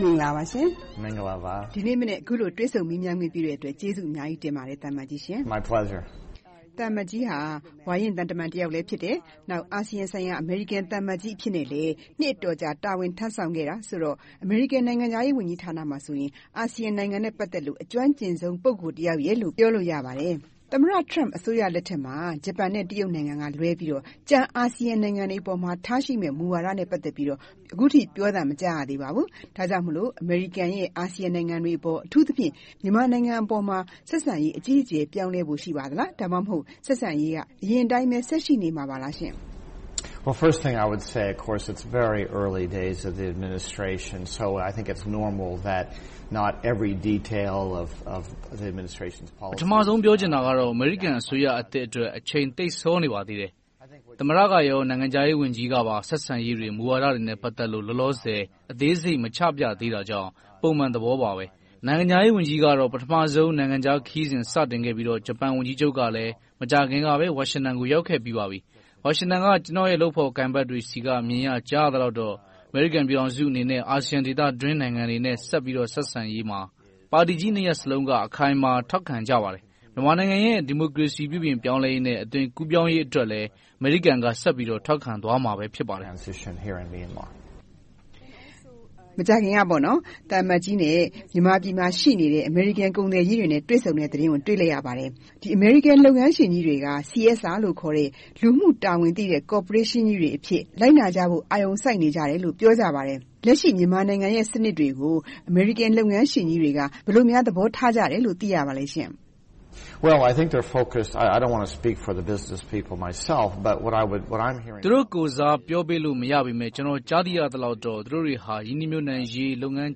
မင်္ဂလာပါရှင်။ ဒီနေ့မနက် အခုလို တွေ့ဆုံမေးမြန်းခွင့်ပေးတဲ့အတွက် ကျေးဇူးအများကြီး တင်ပါတယ် သံအမတ်ကြီးရှင်။ သံအမတ်ကြီးဟာ ဝါရင့်သံအမတ်ကြီးလည်း ဖြစ်တယ်။ နောက် အာဆီယံဆိုင်ရာ အမေရိကန်သံအမတ်ကြီး အဖြစ်နဲ့လည်း နှစ်အတော်ကြာ တာဝန်ထမ်းဆောင်ခဲ့တာဆိုတော့ အမေရိကန် နိုင်ငံခြားရေးဝန်ကြီးဌာနမှာဆိုရင် အာဆီယံနိုင်ငံများနဲ့ဆိုရင် အကျွမ်းကျင်ဆုံး ပုဂ္ဂိုလ်တယောက်ရယ်လို့ ပြောလို့ရပါတယ်။ သမ္မတ Trump အစိုးရလက်ထက်မှာ ဂျပန်နဲ့ တရုတ်နိုင်ငံတို့က လွဲပြီးတော့ ကျန် အာဆီယံနိုင်ငံတွေအပေါ်မှာ ထားရှိတဲ့ မူဝါဒတွေနဲ့ ပတ်သက်ပြီးတော့ အခုထိပြောသံ မကြားရသေးပါဘူး။ ဒါကြောင့်မို့ အမေရိကန်ရဲ့ အာဆီယံနိုင်ငံတွေအပေါ် အထူးသဖြင့် မြန်မာနိုင်ငံအပေါ်မှာ ဆက်ဆံရေးအခြေအနေ ပြောင်းလဲဖို့ ရှိပါသလား။ ဒါမှမဟုတ် ဆက်ဆံရေးက အရင်အတိုင်းပဲ ဆက်ရှိနေမှာလားရှင့်။ မင်္ဂလာပါ။ ပထမဦးဆုံး ပြောချင်တာကတော့ အမေရိကန်အစိုးရသစ်အတွက် အချိန်သိပ်စောနေပါသေးတယ်။ သမ္မတ နဲ့ နိုင်ငံခြားရေးဝန်ကြီးကပါ ဆက်ဆံရေးတွေ၊ မူဝါဒတွေနဲ့ ပတ်သက်လို့ လောလောဆယ် အသေးစိတ်မချပြသေးတာကြောင့် ပုံမှန်သဘောပါပဲ။ နိုင်ငံခြားရေးဝန်ကြီးကတော့ ပထမဦးဆုံး နိုင်ငံခြားခရီးစဉ် စတင်ခဲ့ပြီးတော့ ဂျပန်ဝန်ကြီးချုပ်ကလည်း မကြာခင်က ဝါရှင်တန်ကို ရောက်ခဲ့ပြီးပါပြီ။ ဝါရှင်တန်က ကျနော့်ရဲ့ လုပ်ဖော်ကိုင်ဖက်တွေဆီက မြင်ရကြားရသလောက်တော့ အမေရိကန်ပြည်ထောင်စုအနေနဲ့ အာဆီယံဒေသအတွင်း နိုင်ငံတွေနဲ့ ဆက်ပြီးတော့ ဆက်ဆံရေးမှာ ပါတီကြီးနှစ်ရပ်စလုံးက အခိုင်အမာ ထောက်ခံကြပါတယ်။ မြန်မာနိုင်ငံရဲ့ ဒီမိုကရေစီ ပြုပြင်ပြောင်းလဲရေးနဲ့ အသွင်ကူးပြောင်းရေးအတွက်လည်း အမေရိကန်က ဆက်ပြီးထောက်ခံသွားမှာ ဖြစ်ပါတယ်။ မကြာခင်က သံအမတ်ကြီးနဲ့ မြန်မာပြည်မှာ ရှိနေတဲ့ အမေရိကန်ကုန်သည်ကြီးတွေနဲ့ တွေ့ဆုံတဲ့သတင်းကို တွေ့လိုက်ရပါတယ်။ ဒီအမေရိကန် လုပ်ငန်းရှင်ကြီးတွေက CSR လို့ခေါ်တဲ့ လူမှု့တာဝန်သိတဲ့ ကော်ပိုရေးရှင်းကြီးတွေအဖြစ် လိုက်နာကြဖို့ အာရုံစိုက်နေကြတယ်လို့ ပြောကြပါတယ်။ လက်ရှိ မြန်မာနိုင်ငံရဲ့စနစ်တွေကို အမေရိကန် လုပ်ငန်းရှင်ကြီးတွေက ဘယ်လိုများ သဘောထားကြတယ်လို့ သိရပါလဲရှင့်။ သူတို့ကိုယ်စား ပြောပေးလို့မရပေမယ့် ကျနော် ကြားသိရသလောက်တော့ သူတို့တွေဟာ ရင်းနှီးမြှုပ်နံှရေး၊ လုပ်ငန်း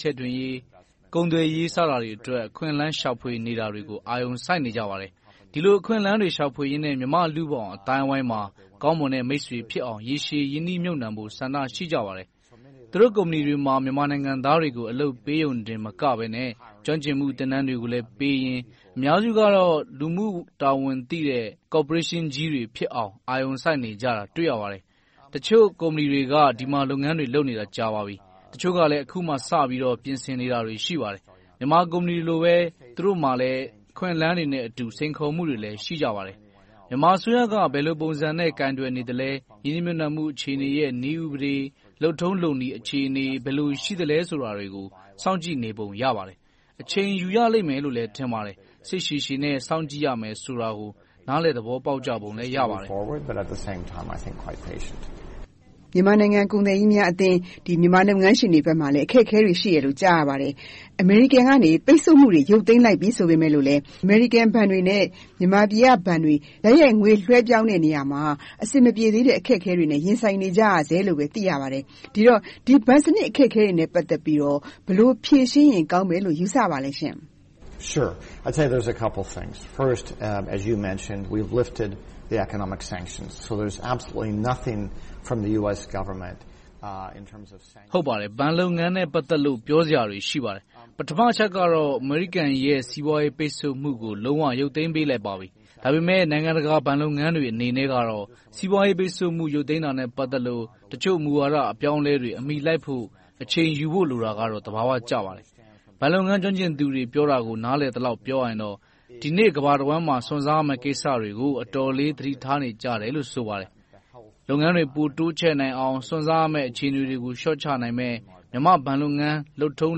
ချဲ့တွင်ရေး၊ ကုန်သွယ်ရေး စတာတွေအတွက် အခွင့်အလမ်း ရှာဖွေနေတာတွေကို အာရုံစိုက်နေကြပါတယ်။ ဒီလို အခွင့်အလမ်းတွေ ရှာဖွေရေးနဲ့ မြန်မာ့လူ့ဘောင်အသိုင်းအဝိုင်းမှာ ကောင်းမွန်တဲ့ မိတ်ဆွေဖြစ်အောင် ရေရှည်ရင်းနှီးမြုပ်နံှဖို့ ဆန္ဒရှိကြပါတယ်။ သူတို့ကုမ္ပဏီမှာ မြန်မာနိုင်ငံသားတွေ အလုပ်ပေးရုံတင်မက၊ ကျွမ်းကျင်မှု သင်တန်းတွေကိုလည်းပေးရင် အများစုကတော့ လူမှုတာဝန်သိတဲ့ ကော်ပိုရေးရှင်းကြီးတွေဖြစ်အောင် အာရုံစိုက်နေကြတာ တွေ့ရပါတယ်။ တချို့ကုမ္ပဏီတွေက ဒီမှာလုပ်ငန်းတွေ လုပ်နေတာကြာပါပြီ။ တချို့ကလည်း အခုမှ ပြင်ဆင်နေတာတွေ ရှိပါတယ်။ မြန်မာကုမ္ပဏီတွေလိုပဲ သူတို့မှာ အခွင့်အလမ်းတွေနဲ့အတူ စိန်ခေါ်မှုတွေလည်း ရှိကြပါတယ်။ မြန်မာအစိုးရက ဘယ်လိုပုံစံနဲ့ကိုင်တွယ်နေသလဲ။ ရင်းနှီးမြှုပ်နံှမှု အခြေအနေရဲ့ နည်းဥပဒေ၊ လုပ်ထုံလုပ်နည်းအခြေအနေ ဘယ်လိုရှိသလဲဆိုတာတွေကို စောင့်ကြည့်နေပုံ ရပါတယ်။ အချိန်ယူရလိမ့်မယ်လို့လည်း ထင်ပါတယ်။ စိတ်ရှည်ရှည်နဲ့ စောင့်ကြည့်ရမယ်ဆိုတာကို နားလည်သဘောပေါက်ကြပုံ ရပါတယ်။ မြန်မာနိုင်ငံ ကုန်သည်ကြီးများအသင်း မြန်မာလုပ်ငန်းရှင်တွေဘက်မှာလည်း အခက်အခဲတွေ ရှိတယ်လို့ ကြားရပါတယ်။ အမေရိကန်က ပိတ်ဆို့မှုတွေ ရုတ်သိမ်းလိုက်ပြီဆိုပေမယ့်လဲ အမေရိကန်ဘဏ်တွေနဲ့ မြန်မာပြည်ကဘဏ်တွေ တိုက်ရိုက်ငွေလွှဲပြောင်းတဲ့ နေရာမှာ အဆင်မပြေသေးတဲ့ အခက်အခဲတွေနဲ့ ရင်းဆိုင်နေကြရဆဲလို့ သိရပါတယ်။ ဒီတော့ ဒီဘဏ်စနစ် အခက်အခဲတွေနဲ့ ပတ်သက်ပြီးတော့ ဘယ်လို ဖြေရှင်းရင် ကောင်းမယ်လို့ ယူဆပါလဲရှင့်။ ဟုတ်ပါတယ် ဘဏ်လုပ်ငန်းနဲ့ ပတ်သက်လို့ ပြောစရာတွေ ရှိပါတယ်။ ပထမအချက်ကတော့ အမေရိကန်ရဲ့ စီးပွားရေးပိတ်ဆို့မှုကို လုံးဝရုတ်သိမ်းပေးလိုက်ပါပြီ။ ဒါပေမဲ့ နိုင်ငံတကာ ဘဏ်လုပ်ငန်းတွေနဲ့ အနေနဲ့ကတော့ စီးပွားရေးပိတ်ဆို့မှု ရုတ်သိမ်းတာနဲ့ ပတ်သက်လို့ တချို့မူဝါဒ အပြောင်းအလဲတွေကို အမီလိုက်ဖို့ အချိန်ယူဖို့ လိုတာကတော့ သဘာဝကျပါတယ်။ ဘဏ်လုပ်ငန်း ကျွမ်းကျင်သူတွေ ပြောတာကို နားလည်သလောက် ပြောရရင်တော့ ဒီနေ့ ကမ္ဘာတဝှမ်းမှာ စွန့်စားရမယ့်ကိစ္စတွေကို အတော်လေး သတိထားနေကြတယ်လို့ ဆိုပါတယ်။ လုပ်ငန်းတွေ ပိုတိုးချဲ့နိုင်အောင် စွန့်စားရမယ့် အခြေအနေတွေကို လျှော့ချနိုင်မယ့် မြန်မာ့ဘဏ်လုပ်ငန်း လုပ်ထုံ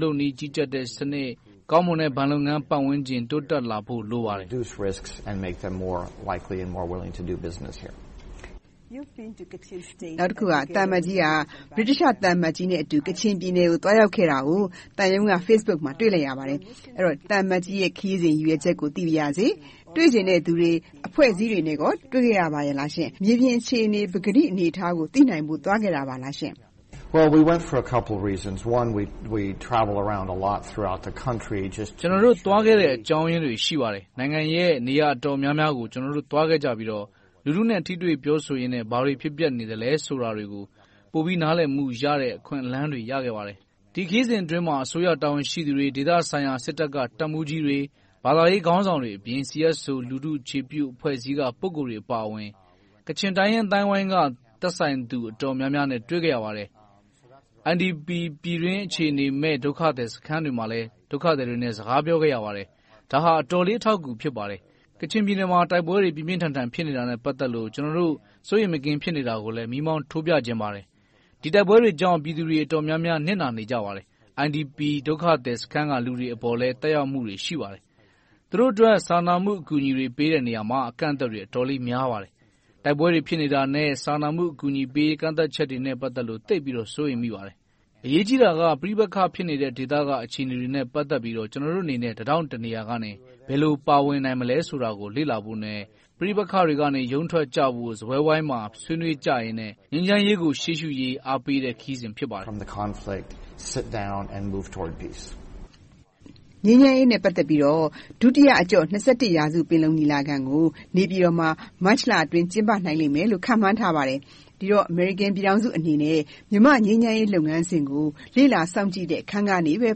လုပ်နည်း ကြီးကြပ်တဲ့စနစ်၊ ကောင်းမွန်တဲ့ ဘဏ်လုပ်ငန်း ပတ်ဝန်းကျင် တိုးတက်လာဖို့ လိုပါတယ်။ နောက်တခုက သံအမတ်ကြီးက ဗြိတိသျှသံအမတ်ကြီးနဲ့အတူ ကချင်ပြည်နယ်ကို သွားရောက်ခဲ့တာကို သံရုံးက Facebook မှာ တွေ့လိုက်ရပါတယ်။ သံအမတ်ကြီးရဲ့ ခရီးစဉ် ရည်ရွယ်ချက်ကို သိပါရစေ။ တွေ့ချင်တဲ့သူတွေ၊ အဖွဲ့အစည်းတွေကို တွေ့ခဲ့ရပါလားရှင့်။ မြေပြင်အခြေအနေ၊ ပကတိအနေအထားကို သိနိုင်ဖို့ သွားခဲ့ပါလားရှင့်။ ကျနော်တို့ သွားခဲ့တဲ့ အကြောင်းအရင်းတွေ ရှိပါတယ်။ နိုင်ငံရဲ့ နေရာအတော်များများကို ကျနော်တို့ သွားခဲ့ကြပြီးတော့ လူထုနဲ့ ထိတွေ့ပြောဆိုရင်နဲ့ ဘာတွေဖြစ်ပျက်နေသလဲဆိုတာတွေကို ပိုပြီးနားလည်မှုရတဲ့ အခွင့်အလမ်းတွေ ရခဲ့ပါတယ်။ ဒီခရီးစဉ်အတွင်းမှာ အစိုးရတာဝန်ရှိသူတွေ၊ ဒေသဆိုင်ရာ စစ်တပ်က တပ်မှူးကြီးတွေ၊ ဘာသာရေးခေါင်းဆောင်တွေအပြင်၊ CSO လူထုအခြေပြု အဖွဲ့အစည်းက ပုဂ္ဂိုလ်တွေအပါအဝင်၊ ကချင်တိုင်းရင်းသားတွေ အသိုင်းအဝိုင်းက သက်ဆိုင်သူ အတော်များများနဲ့ တွေ့ခဲ့ရပါတယ်။ IDP ပြည်တွင်းအခြေမဲ့ ဒုက္ခသည်စခန်းတွေမှာလည်း ဒုက္ခသည်တွေနဲ့ စကားပြောခဲ့ရပါတယ်။ ဒါဟာ အတော်လေး အထောက်အကူ ဖြစ်ပါတယ်။ ကချင်ပြည်နယ်မှာ တိုက်ပွဲတွေ ပြင်းပြင်းထန်ထန် ဖြစ်နေတာနဲ့ ပတ်သက်လို့ ကျနော်တို့ စိုးရိမ်မကင်း ဖြစ်နေတာကိုလည်း မီးမောင်းထိုးပြချင်ပါတယ်။ ဒီတိုက်ပွဲတွေကြောင့် ပြည်သူတွေ အတော်များများ နစ်နာနေကြပါတယ်။ IDP ဒုက္ခသည်စခန်းက လူတွေအပေါ်လည်း သက်ရောက်မှုတွေ ရှိပါတယ်။ သူတို့အတွက် စာနာမှုအကူအညီတွေ ပေးတဲ့နေရာတွေမှာ အကန့်အသတ်တွေ အတော်လေး များပါတယ်။ တိုက်ပွဲတွေ ဖြစ်နေတာနဲ့ စာနာမှုအကူအညီပေးရေး ကန့်သတ်ချက်တွေနဲ့ ပတ်သက်လို့ သိပ်ပြီးတော့ စိုးရိမ်မိပါတယ်။ အရေးကြီးတာက ပဋိပက္ခ ဖြစ်နေတဲ့ ဒေသက အခြေအနေတွေနဲ့ ပတ်သက်ပြီးတော့ ကျနော်တို့အနေနဲ့ တထောင့်တနေရာကနေ ဘယ်လို ပါဝင်နိုင်မလဲဆိုတာကို လေ့လာဖို့နဲ့ ပဋိပက္ခတွေကနေ ရုန်းထွက်ကြဖို့ စားပွဲဝိုင်းမှာ ဆွေးနွေးကြရင်းနဲ့ ငြိမ်းချမ်းရေးကို ရှေ့ရှုရေး အားပေးတဲ့ ခရီးစဉ် ဖြစ်ပါတယ်။ ငြိမ်းချမ်းရေးနဲ့ ပတ်သက်ပြီးတော့ ဒုတိယအကြော့ ရာစု ပင်လုံညီလာခံကို နေပြည်တော်မှာ မတ်လအတွင်း ကျင်းပနိုင်လိမ့်မယ်လို့ ခန့်မှန်းထားပါတယ်။ ဒီတော့ အမေရိကန်ပြည်ထောင်စုအနေနဲ့ မြန်မာ့ငြိမ်းချမ်းရေး လုပ်ငန်းစဉ်ကို လေ့လာစောင့်ကြည့်တဲ့အခန်းကပဲ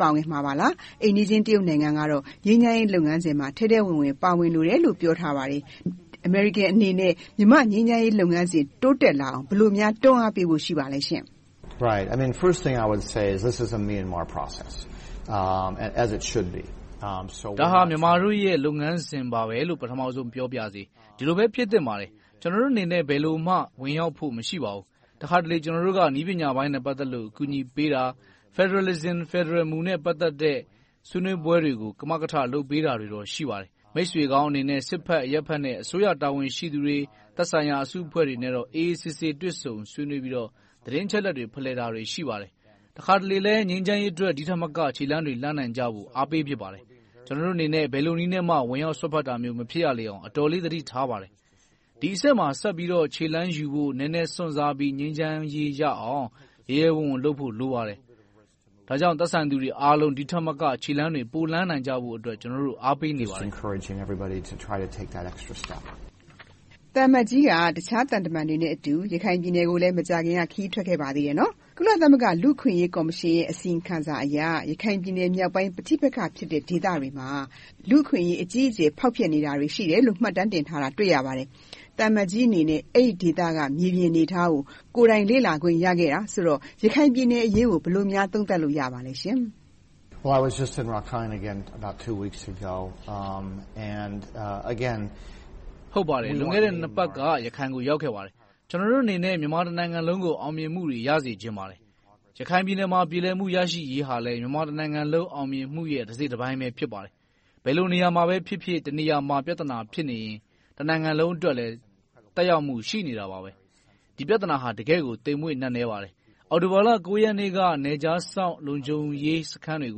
ပါဝင်မှာလား။ အိမ်နီးချင်းတရုတ်နိုင်ငံကတော့ ငြိမ်းချမ်းရေးလုပ်ငန်းစဉ်မှာ ထဲထဲဝင်ဝင် ပါဝင်လိုတယ်လို့ ပြောထားပါတယ်။ အမေရိကန်အနေနဲ့ မြန်မာ့ငြိမ်းချမ်းရေးလုပ်ငန်းစဉ် တိုးတက်လာအောင် ဘယ်လိုများ တွန်းအားပေးဖို့ ရှိပါလဲရှင့်။ ဒါဟာ မြန်မာတို့ရဲ့ လုပ်ငန်းစဉ်ပါပဲလို့ ပထမဦးဆုံး ပြောပါရစေ။ ဒီလိုပဲ ဖြစ်သင့်ပါတယ်။ ကျနော်တို့အနေနဲ့ ဘယ်လိုမှ ဝင်ရောက်ဖို့ မရှိပါဘူး။ တခါတလေ ကျနော်တို့က နည်းပညာပိုင်းနဲ့ ပတ်သက်လို့ အကူအညီပေးတာ၊ Federalism ဖယ်ဒရယ်မူနဲ့ ပတ်သက်တဲ့ ဆွေးနွေးပွဲတွေကို ကမကထလုပ်ပေးတာတွေတော့ ရှိပါတယ်။ မိတ်ဆွေကောင်းအနေနဲ့ စစ်ဘက်အရပ်ဘက်နဲ့ အစိုးရတာဝန်ရှိသူတွေ၊ သက်ဆိုင်ရာ အစုအဖွဲ့တွေနဲ့တော့ အေးအေးဆေးဆေး တွေ့ဆုံဆွေးနွေးပြီးတော့ သတင်းအချက်အလက်တွေ ဖလှယ်တာတွေ ရှိပါတယ်။ တခါတလေလဲ ငြိမ်းချမ်းရေးအတွက် ဒီထက်မက ခြေလှမ်းတွေလှမ်းနိုင်ကြဖို့ အားပေးဖြစ်ပါတယ်။ ကျနော်တို့အနေနဲ့ ဘယ်လိုနည်းနဲ့မှ ဝင်ရောက်စွက်ဖက်တာမျိုး မဖြစ်ရလေအောင် အတော်လေး သတိထားပါတယ်။ ဒီအဆင့်မှာ ဆက်ပြီးတော့ ခြေလှမ်းယူဖို့ နည်းနည်းစွန့်စားပြီး ငြိမ်းချမ်းရေးရအောင် ရဲရဲဝံ့ဝံ့လုပ်ဖို့ လိုပါတယ်။ ဒါကြောင့် သက်ဆိုင်သူတွေအားလုံး ဒီထက်မက ခြေလှမ်းတွေ ပိုလှမ်းနိုင်ကြဖို့အတွက် ကျနော်တို့ အားပေးနေပါတယ်။ သံအမတ်ကြီးက တခြားသံတမန်တွေနဲ့အတူ ရခိုင်ပြည်နယ်ကိုလည်း မကြာခင်က ခရီးထွက်ခဲ့ပါသေးတယ်။ ကုလသမဂ္ဂ လူ့အခွင့်အရေးကော်မရှင်ရဲ့ အစီရင်ခံစာအရ ရခိုင်ပြည်နယ်မြောက်ပိုင်း ပဋိပက္ခဖြစ်တဲ့ ဒေသတွေမှာ လူ့အခွင့်အရေး အကြီးအကျယ် ဖောက်ပျက်နေတာတွေ ရှိတယ်လို့ မှတ်တမ်းတင်ထားတာ တွေ့ရပါတယ်။ သံအမတ်ကြီးအနေနဲ့ အဲဒီဒေသက မြေပြင်အနေအထားကို ကိုယ်တိုင်လေ့လာခွင့် ရခဲ့တာဆိုတော့ ရခိုင်ပြည်နယ်အရေးကို ဘယ်လိုများ သုံးသပ်လို့ ရပါသလဲရှင်။ ဟုတ်ပါတယ်။ လွန်ခဲ့တဲ့ နှစ်ပတ်ကျော်က ရခိုင်ကို ရောက်ခဲ့ပါတယ်။ ကျနော်တို့အနေနဲ့ မြန်မာနိုင်ငံ တနိုင်ငံလုံးကို အောင်မြင်မှုတွေ ရစေချင်ပါတယ်။ ရခိုင်ပြည်နယ်မှာ ပြေလည်မှု ရရှိရေးဟာလည်း မြန်မာတနိုင်ငံလုံး အောင်မြင်မှုရဲ့ တစိတ်တပိုင်းပဲ ဖြစ်ပါတယ်။ ဘယ်လိုနေရာမှာပဲဖြစ်ဖြစ် တနေရာမှာ ပြဿနာ ဖြစ်နေရင်၊ တနိုင်ငံလုံးအတွက်လည်း သက်ရောက်မှု ရှိနေတာပဲ။ ဒီပြဿနာဟာ တကယ့်ကို သိမ့်မွေ့နက်နဲပါတယ်။ အောက်တိုဘာလ ရက်နေ့က နယ်ခြားစောင့် လုံခြုံရေးစခန်းတွေ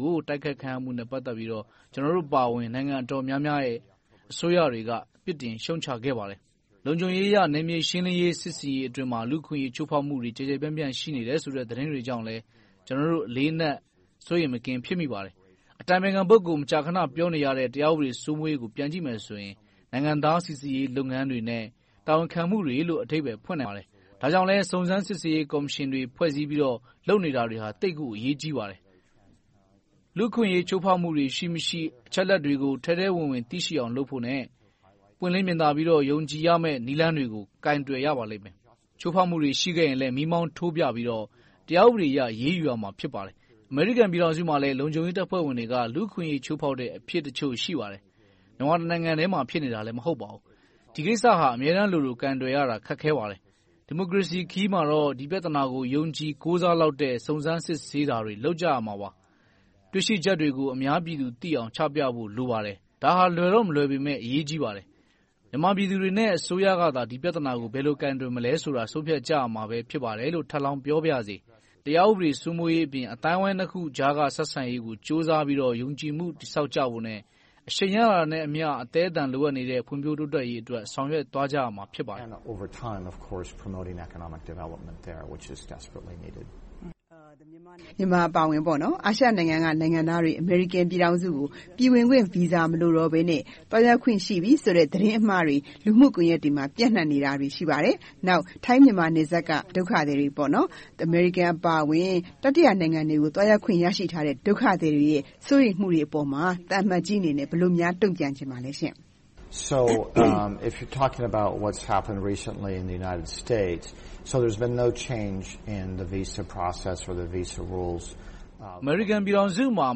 ကို တိုက်ခိုက်မှုနဲ့ ကျနော်တို့အပါအဝင် နိုင်ငံတော်တော်များများ အစိုးရတွေက ပြစ်တင်ရှုတ်ချခဲ့ပါတယ်။ လုံခြုံရေးအရ နယ်မြေရှင်းလင်းရေး၊ စစ်ဆင်ရေးအတွင်းမှာ လူ့အခွင့်အရေး ချိုးဖောက်မှုတွေ ကျယ်ကျယ်ပြန့်ပြန့် ရှိနေတယ်ဆိုတဲ့ သတင်းတွေကြောင့်လည်း ကျနော်တို့ အလေးအနက် စိုးရိမ်မကင်း ဖြစ်မိပါတယ်။ အတိုင်ပင်ခံ ပုဂ္ဂိုလ် မကြာခဏ ပြောနေရတဲ့ တရားဥပဒေ စိုးမိုးရေးကို ပြန်ကြည့်မယ်ဆိုရင် နိုင်ငံသား စီစစ်ရေးလုပ်ငန်းတွေနဲ့ တာဝန်ခံမှုတွေလို့ အဓိပ္ပါယ်ဖွင့်ဆိုနိုင်ပါတယ်။ ဒါကြောင့်လဲ စုံစမ်းစစ်ဆေးရေး ကော်မရှင်တွေ ဖွဲ့စည်းပြီးတော့ လုပ်နေတာတွေက သိပ်ကိုအရေးကြီးပါတယ်။ လူ့အခွင့်အရေး ချိုးဖောက်မှုတွေ ရှိမရှိ၊ အချက်အလက်တွေကို ထဲထဲဝင်ဝင် သိရှိအောင် လုပ်ဖို့နဲ့ ပွင့်လင်းမြင်သာပြီးတော့ ယုံကြည်ရမယ့် နည်းလမ်းတွေကို ကိုင်တွယ်ရပါလိမ့်မယ်။ ချိုးဖောက်မှုတွေ ရှိခဲ့ရင်လည်း မီးမောင်းထိုးပြပြီးတော့ တရားဥပဒေအရ အရေးယူရမှာ ဖြစ်ပါတယ်။ အမေရိကန်ပြည်ထောင်စုမှာလည်း လုံခြုံရေးတပ်ဖွဲ့ဝင်တွေက လူ့အခွင့်အရေး ချိုးဖောက်ချက်တချို့ ရှိပါတယ်။ မြန်မာတနိုင်ငံထဲမှာ ဖြစ်နေတာ မဟုတ်ပါဘူး။ ဒီကိစ္စဟာ အမြဲတမ်းလိုလို ကိုင်တွယ်ရတာ ခက်ခဲပါတယ်။ ဒီမိုကရေစီခရီးမှာတော့ ဒီပြဿနာကို ယုံကြည်ကိုးစားလောက်တဲ့ စုံစမ်းစစ်ဆေးတာတွေ လုပ်ကြရမှာပါ။ တွေ့ရှိချက်တွေကို အများပြည်သူသိအောင် ချပြဖို့ လိုအပ်ပါတယ်။ ဒါဟာ လွယ်တော့မလွယ်ပေမယ့် အရေးကြီးပါတယ်။ မြန်မာပြည်သူတွေနဲ့ အစိုးရကသာ ဒီပြဿနာကို ဘယ်လို ကိုင်တွယ်မလဲဆိုတာကို ဆုံးဖြတ်ကြရမှာ ဖြစ်ပါတယ်လို့ ထပ်လောင်းပြောပါရစေ။ တရားဥပဒေ စိုးမိုးရေးအပြင် အသိုင်းအဝိုင်းနှစ်ခုကြားက ဆက်ဆံရေးကို ကြိုးစားပြီးတော့ ယုံကြည်မှု တည်ဆောက်ကြဖို့နဲ့ အရှိန်ရလာတာနဲ့အမျှ အသည်းအသန် လိုအပ်နေတဲ့ ဖွံ့ဖြိုးတိုးတက်ရေးအတွက် ဆောင်ရွက်သွားကြရမှာ ဖြစ်ပါတယ်။ မြန်မာအပါအဝင် အာရှနိုင်ငံသားတွေ အမေရိကန်ပြည်ထောင်စုကို ပြည်ဝင်ခွင့်ဗီဇာ မလိုတော့ဘဲနဲ့ သွားရောက်ခွင့်ရှိပြီဆိုတဲ့ သတင်းအမှားတွေ လူမှုကွန်ရက်တွေမှာ ပြန့်နံှနေတာတွေ ရှိပါတယ်။ နောက် ထိုင်း-မြန်မာ နယ်စပ်က ဒုက္ခသည်တွေ အမေရိကန်အပါအဝင် တတိယနိုင်ငံတွေကို သွားရောက်ခွင့် ရရှိထားတဲ့ ဒုက္ခသည်တွေရဲ့ စိုးရိမ်မှုတွေအပေါ်မှာ သံအမတ်ကြီးအနေနဲ့ ဘယ်လိုများ တုံ့ပြန်ချင်ပါလဲရှင့်။ အမေရိကန်ပြည်ထောင်စုမှာ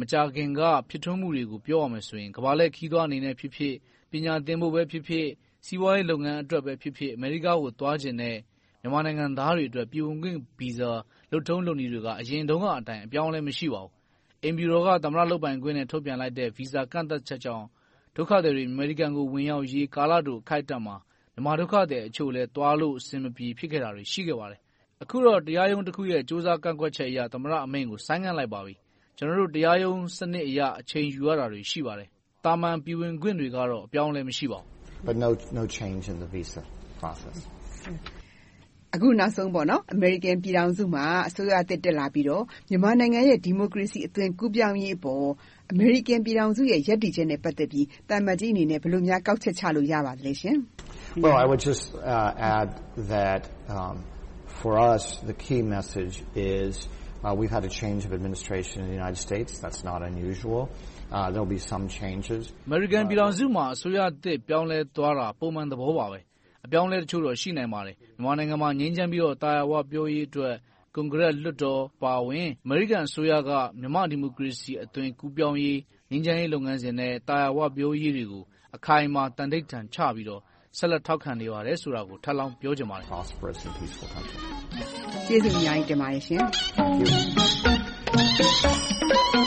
မကြာခင်က ဖြစ်ထွန်းမှုတွေကို ပြောရမယ်ဆိုရင် ကမ္ဘာလှည့်ခရီးသွားအနေနဲ့ဖြစ်ဖြစ်၊ ပညာသင်ဖို့ပဲဖြစ်ဖြစ်၊ စီးပွားရေးလုပ်ငန်းအတွက်ပဲဖြစ်ဖြစ် အမေရိကကို သွားချင်တဲ့ မြန်မာနိုင်ငံသားတွေအတွက် ပြည်ဝင်ခွင့်ဗီဇာ လုပ်ထုံးလုပ်နည်းတွေက အရင်တုန်းကအတိုင်း အပြောင်းအလဲ မရှိပါဘူး။ အိမ်ဖြူတော်က သမ္မတလုပ်ပိုင်ခွင့်နဲ့ ထုတ်ပြန်လိုက်တဲ့ ဗီဇာကန့်သတ်ချက်ကြောင့် ဒုက္ခသည်တွေ အမေရိကန်ကို ဝင်ရောက်ရေး ကာလတို အခိုက်အတန့်မှာ မြန်မာဒုက္ခသည်အချို့လည်း သွားလို့အဆင်မပြေ ဖြစ်ခဲ့တာတွေ ရှိခဲ့ပါတယ်။ အခုတော့ တရားရုံးတခုရဲ့ ကြိုးစားကန့်ကွက်ချက်အရ သမ္မတအမိန့်ကို ဆိုင်းငံ့လိုက်ပါပြီ။ ကျနော်တို့ တရားရုံးစနစ်အရ အချိန်ယူရတာတွေ ရှိပါတယ်။ သာမန်ပြည်ဝင်ခွင့်တွေကတော့ အပြောင်းအလဲ မရှိပါဘူး။ အခုနောက်ဆုံး အမေရိကန်ပြည်ထောင်စုမှာ အစိုးရသစ် တက်လာပြီးတော့ မြန်မာနိုင်ငံရဲ့ ဒီမိုကရေစီ အသွင်ကူးပြောင်းရေးအပေါ် အမေရိကန်ပြည်ထောင်စုရဲ့ ရပ်တည်ချက်နဲ့ ပတ်သက်ပြီး သံအမတ်ကြီးအနေနဲ့ ဘယ်လိုများ ကောက်ချက်ချရပါသလဲရှင်။ အမေရိကန်ပြည်ထောင်စုမှာ အစိုးရသစ် ပြောင်းလဲသွားတာ ပုံမှန်သဘောပါ။ အပြောင်းအလဲတချို့တော့ ရှိနိုင်ပါတယ်။ မြန်မာနိုင်ငံမှာ ငြိမ်းချမ်းပြီးတော့ သာယာဝပြောရေးအတွက် ကွန်ဂရက်လွှတ်တော်အပါအဝင် အမေရိကန်အစိုးရက မြန်မာ့ဒီမိုကရေစီအသွင်ကူးပြောင်းရေး၊ ငြိမ်းချမ်းရေးလုပ်ငန်းစဉ်နဲ့ သာယာဝပြောရေးတွေကို အခိုင်အမာ သံဓိဌာန်ချပြီးတော့ ဆက်လက် ထောက်ခံနေပါတယ်ဆိုတာကို ထပ်လောင်းပြောချင်ပါတယ်။ ကျေးဇူးအများကြီးတင်ပါတယ်။ Thank you